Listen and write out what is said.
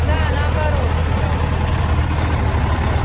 да наоборот сказал сергей